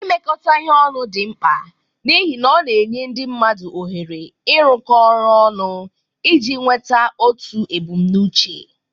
Imekọ ihe ọnụ dị mkpa n'ihi na ọ na-enye ndị mmadụ ohere ịrụkọ ọrụ ọnụ iji nweta otu ebumnuche